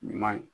Ɲuman